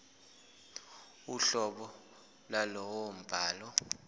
uhlobo lwalowo mbhalo